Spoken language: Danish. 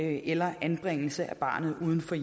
eller anbringelse af barnet uden for